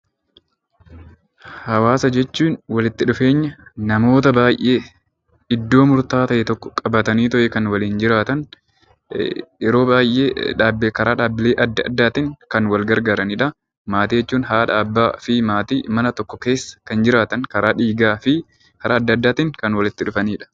Hawaasa jechuun walitti dhufeenya namoota baay'ee iddoo murtaa'aa ta'e tokko qabatanii kan waliin jiraatan karaa dhaabbilee adda addaatiin kan wal gargaaranidha. Maatii jechuun haadha, abbaa fi maatii mana tokko keessa waliin jiraatan karaa dhiigaa fi karaa adda addaa kan walitti dhufanidha.